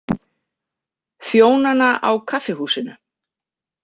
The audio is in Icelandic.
Þjónana á kaffihúsinu.